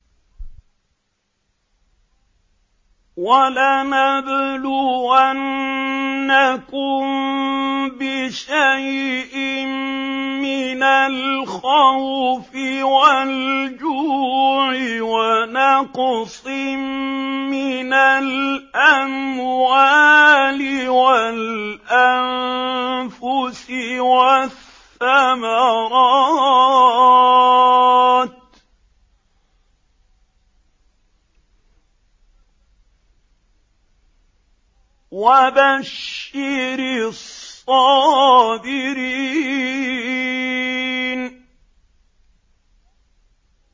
وَلَنَبْلُوَنَّكُم بِشَيْءٍ مِّنَ الْخَوْفِ وَالْجُوعِ وَنَقْصٍ مِّنَ الْأَمْوَالِ وَالْأَنفُسِ وَالثَّمَرَاتِ ۗ وَبَشِّرِ الصَّابِرِينَ